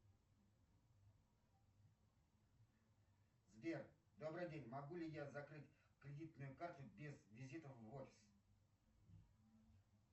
сбер добрый день могу ли я закрыть кредитную карту без визита в офис